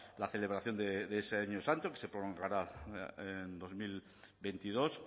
la celebración de ese año santo que se prolongará a dos mil veintidós